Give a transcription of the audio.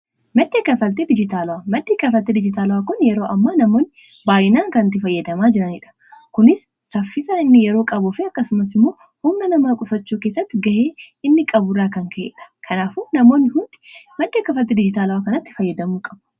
madc kafalee dijitaalaa maddhi kafalte dijitaala'aa kun yeroo amma namoonni baayinaa kanatti fayyadamaa jiraniidha kunis saffisa inni yeroo qabu fe akkasumas immoo hunna nama qusachuu keessatti ga'ee inni qaburraa kan ka'eedha kanaafu namoonni hundi macca kafaltee diijitaala'aa kanatti fayyadamuu qabu